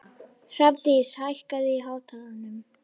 Hrafndís, hækkaðu í hátalaranum.